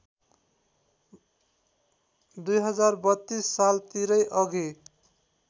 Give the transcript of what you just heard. २०३२ सालतिरै अघि